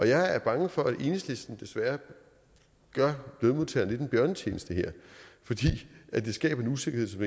jeg er bange for at enhedslisten desværre gør lønmodtagerne lidt en bjørnetjeneste her fordi det skaber en usikkerhed som